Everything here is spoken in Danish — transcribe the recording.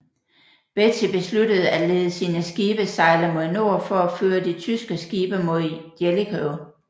Beatty besluttede at lede sine skibe sejle mod nord for at føre de tyske skibe mod Jellicoe